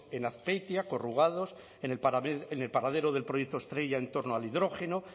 en azpeitia en el paradero del proyecto estrella en torno al hidrógeno